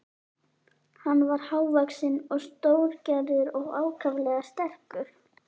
Hann var hávaxinn og stórgerður og ákaflega sterkur.